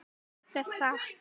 Líka satt?